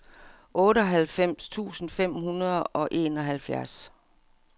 otteoghalvfems tusind fem hundrede og enoghalvfjerds